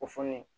O fɔ ne ye